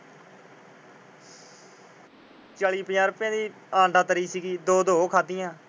ਚਾਲੀ ਪੰਜਾਹ ਰੁਪਏ ਦੀ ਅੰਡਾ ਤਰੀ ਸੀ। ਦੋ ਦੋ ਉਹ ਖਾਦੀਆਂ।